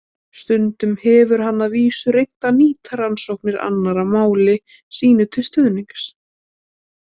Stundum hefur hann að vísu reynt að nýta rannsóknir annarra máli sínu til stuðnings.